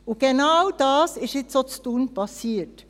Und genau dies ist nun auch in Thun passiert.